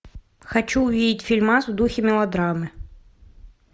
хочу увидеть фильмас в духе мелодрамы